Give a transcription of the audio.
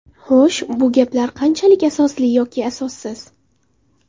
Xo‘sh, bu gaplar qanchalik asosli yoki asossiz?